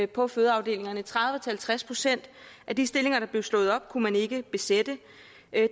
på fødeafdelingerne tredive til halvtreds procent af de stillinger der blev slået op kunne man ikke besætte